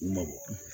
U mabɔ